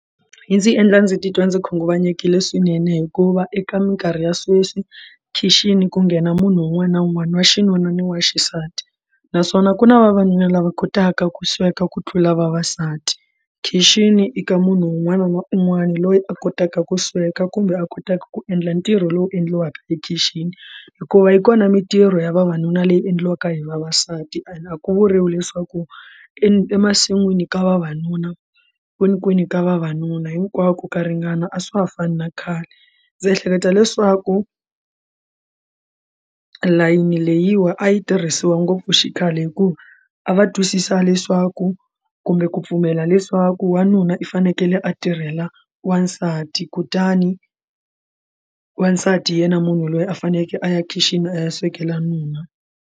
Yi ndzi endla ndzi titwa ndzi khunguvanyekile swinene hikuva eka minkarhi ya sweswi khixini ku nghena munhu un'wana na un'wana wa xinuna ni wa xisati naswona ku na vavanuna lava kotaka ku sweka ku tlula vavasati khixini eka munhu un'wana na un'wana loyi a kotaka ku sweka kumbe a kotaka ku endla ntirho lowu endliwaka ekhixini hikuva yi kona mitirho ya vavanuna leyi endliwaka hi vavasati and akuvuriwi leswaku emasin'wini ka vavanuna kwinikwini ka vavanuna hinkwako ka ringana a swa ha fani na khale ndzi ehleketa leswaku layini leyiwa a yi tirhisiwa ngopfu xikhale hikuva a va twisisi sa leswaku kumbe ku pfumela leswaku wanuna i fanekele a tirhela wansati kutani wasati yena munhu loyi a fanekele a ya khixini a ya swekela nuna.